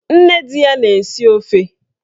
Nne di ya na-esi ofe